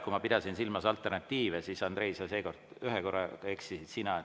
Kui ma pidasin silmas alternatiive, siis, Andrei, seekord ühe korra eksisid sina.